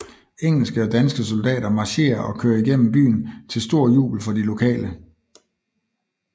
Engelske og danske soldater marcherer og kører igennem byen til stor jubel for de lokale